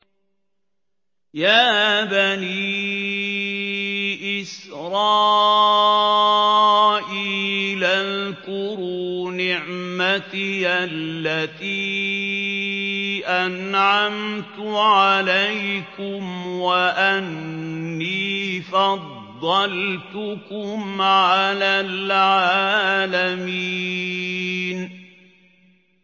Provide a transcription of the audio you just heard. يَا بَنِي إِسْرَائِيلَ اذْكُرُوا نِعْمَتِيَ الَّتِي أَنْعَمْتُ عَلَيْكُمْ وَأَنِّي فَضَّلْتُكُمْ عَلَى الْعَالَمِينَ